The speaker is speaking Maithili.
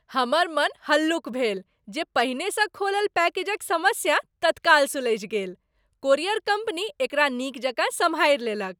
हमर मन हल्लुक भेल जे पहिनेसँ खोलल पैकेजक समस्या तत्काल सुलझि गेल। कोरियर कम्पनी एकरा नीक जकाँ सँभारि लेलक।